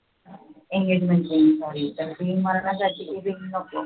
engagement ring झाली ring नको